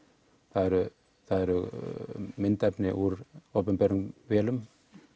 það eru það eru myndefni úr opinberum vélum